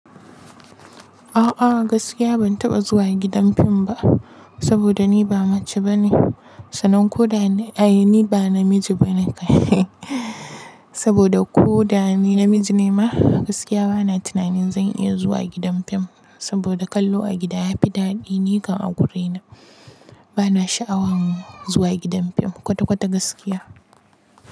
A'a gaskiya ban taɓa zuwa gidan fim ba, saboda ni ba mace bane, sanan ko da ai ni ba namiji bane. Saboda ko da ni namiji ne ma, gaskiya bana tunanin zan iya zuwa gidan fim saboda kallo a gida yafi daɗi, ni kan a guri na. Bana sha'awan zuwa gidan fim kwata kwata gaskiya.